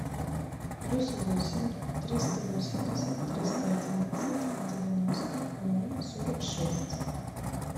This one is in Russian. плюс восемь триста восемьдесят триста одиннадцать девяносто ноль сорок шесть